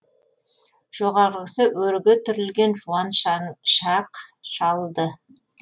жоғарғысы өрге түрілген жуан шақшалды